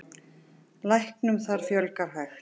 Læknum þar fjölgi hægt.